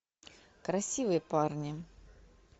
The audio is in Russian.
красивые парни